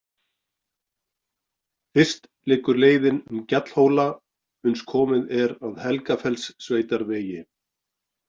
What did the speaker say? Fyrst liggur leiðin um gjallhóla uns komið er að Helgafellssveitarvegi.